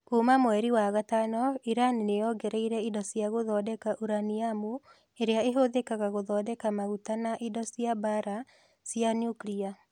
Kuuma mweri wa gatano, Iran nĩ yongereire indo cia gũthondeka uraniamu ĩrĩa ĩhũthĩkaga gũthondeka maguta na indo cia mbaara cia nyukilia.